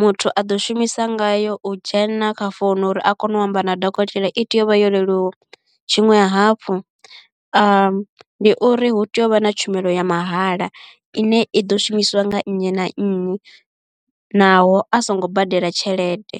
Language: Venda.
muthu a ḓo shumisa ngayo u dzhena kha founu uri a kone u amba na dokotela i tea uvha yo leluwa tshiṅwe hafhu ndi uri hu tea u vha na tshumelo ya mahala ine i ḓo shumisiwa nga nnyi na nnyi naho a songo badela tshelede.